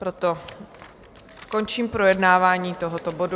Proto končím projednávání tohoto bodu.